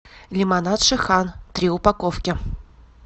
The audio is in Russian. лимонад шихан три упаковки